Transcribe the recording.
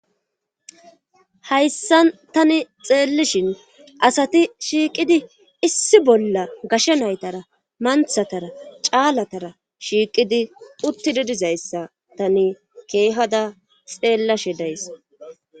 Hayssan tani xeellishin asati shiiqidi issi bolla gasha naytara manthatara caalatara shiiqidi utti didizayssa tani keehada xeellashi days,